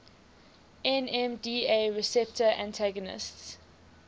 nmda receptor antagonists